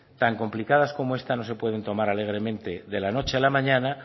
tan complicadas como esta no se pueden tomar alegremente de la noche a la mañana